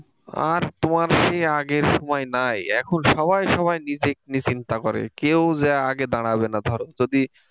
আর তোমার সেই আগের সময় নাই এখন সবাই সবাই নিজেকে নিয়ে চিন্তা করে কেউ যেয়ে আগে দাঁড়াবে না ধরো যদি,